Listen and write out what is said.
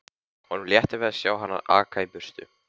Honum létti við að sjá hana aka í burtu.